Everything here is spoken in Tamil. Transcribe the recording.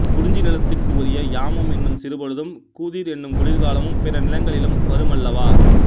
குறிஞ்சி நிலத்துக்கு உரிய யாமம் என்னும் சிறுபொழுதும் கூதிர் என்னும் குளிர்காலமும் பிற நிலங்களிலும் வருமல்லவா